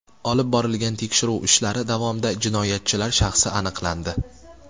Olib borilgan tekshiruv ishlari davomida jinoyatchilar shaxsi aniqlandi.